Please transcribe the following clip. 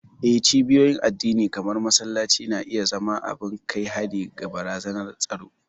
Eh, cibiyoyin addini kamar masallaci na iya zama abin kai hari ga barazanar tsaro.